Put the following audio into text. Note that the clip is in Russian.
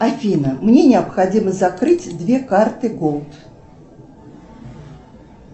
афина мне необходимо закрыть две карты голд